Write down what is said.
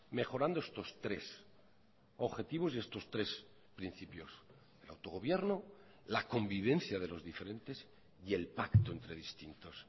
mejorando estos tres objetivos y estos tres principios el autogobierno la convivencia de los diferentes y el pacto entre distintos